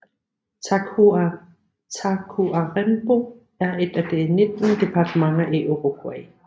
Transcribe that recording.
Tacuarembó er et af de 19 departementer i Uruguay